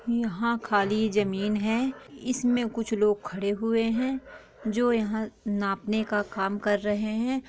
यहाँ खाली जमीन है इसमे कुछ लोग खड़े हुए है जो यहाँ नापने का काम कर रहे है।